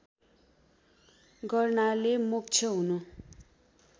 गर्नाले मोक्ष हुनु